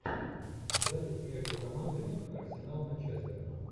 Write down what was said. запись между командами арсенал манчестер